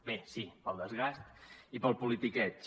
bé sí pel desgast i pel politiqueig